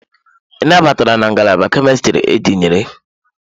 Ị nabatara na Ngalaba Kemistri etinyere?